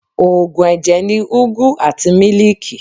Òògùn ẹ̀jẹ̀ ni ugwu àti mílíìkì.